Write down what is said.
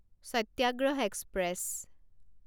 সত্যাগ্ৰহ express